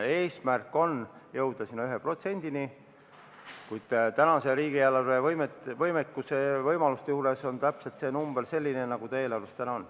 Eesmärk on jõuda 1%-ni, kuid riigieelarve võimalusi arvestades on see number täpselt selline, nagu see täna on.